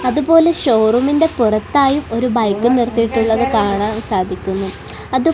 അതുപോലെ ഷോറൂമിൻ്റെ പുറത്തായി ഒരു ബൈക്കും നിർത്തിയിട്ടുള്ളത് കാണാൻ സാധിക്കുന്നു അതു--